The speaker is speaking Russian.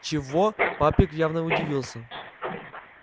чего папик явно удивился